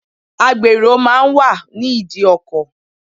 Agbèrò máa ń wà ní ìdí ọkọ̀.